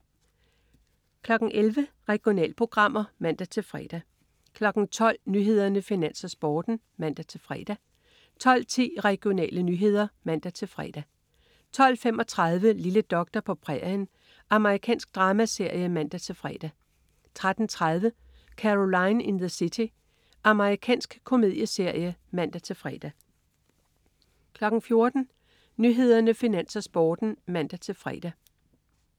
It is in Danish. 11.00 Regionalprogrammer (man-fre) 12.00 Nyhederne, Finans, Sporten (man-fre) 12.10 Regionale nyheder (man-fre) 12.35 Lille doktor på prærien. Amerikansk dramaserie (man-fre) 13.30 Caroline in the City. Amerikansk komedieserie (man-fre) 14.00 Nyhederne, Finans, Sporten (man-fre)